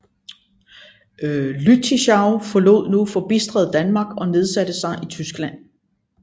Lüttichau forlod nu forbitret Danmark og nedsatte sig i Tyskland